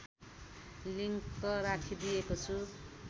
link राखिदिएको छु